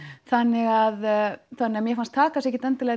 þannig að þannig að mér fannst það kannski ekki